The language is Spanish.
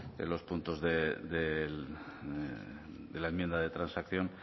de los puntos de la enmienda de transacción